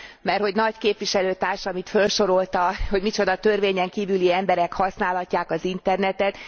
Merthogy Nagy képviselőtársam itt felsorolta, hogy micsoda törvényen kívüli emberek használhatják az internetet.